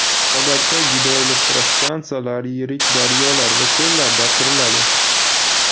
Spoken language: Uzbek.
Odatda gidroelektrostansiyalar yirik daryolar va ko‘llarda quriladi.